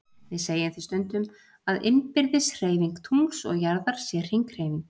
Við segjum því stundum að innbyrðis hreyfing tungls og jarðar sé hringhreyfing.